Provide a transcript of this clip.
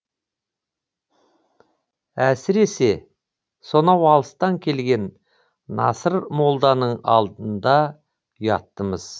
әсіресе сонау алыстан келген насыр молданың алдында ұяттымыз